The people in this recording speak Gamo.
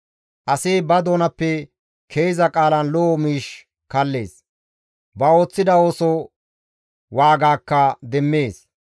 Asi ba doonappe ke7iza qaalan lo7o miish kallees; ba ooththida ooso waagakka demmees.